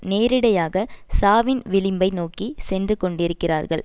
நேரிடையாக சாவின் விளிம்பை நோக்கி சென்று கொண்டிருக்கிறார்கள்